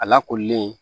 A lakoolilen